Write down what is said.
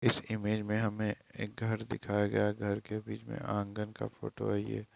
इस इमेज में हमें एक घर दिखाया गया है घर के बीच में आँगन का फोटो है ये।